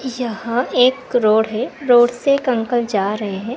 यह एक रोड है रोड से एक अंकल जा रहे है।